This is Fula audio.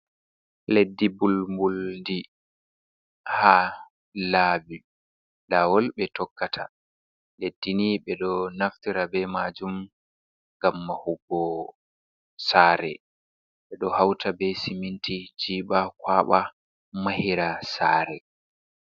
Leddi bul bul di ha labi lawol ɓe tokkata. Leddi ni ɓe ɗo naftira be majum ngam mahugo sare, ɓe ɗo hauta be siminti jiɓa kwaɓa mahira sare.